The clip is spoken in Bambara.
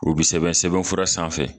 O bi sɛbɛn sɛbɛnfura sanfɛ